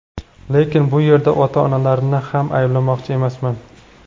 Lekin bu yerda ota-onalarni ham ayblamoqchi emasman.